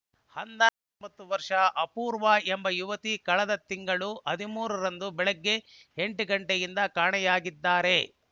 ಹಂದನ ವರ್ಷದ ಅಪೂರ್ವ ಎಂಬ ಯುವತಿ ಕಳೆದ ತಿಂಗಳು ಹದಿಮೂರ ರಂದು ಬೆಳಿಗ್ಗೆ ಎಂಟು ಗಂಟೆಯಿಂದ ಕಾಣೆಯಾಗಿದ್ದಾರೆ